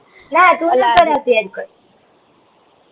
નાં ટુ ન કરાવતી હેર કટ